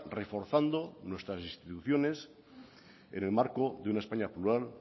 reforzando nuestras instituciones en el marco de una españa plural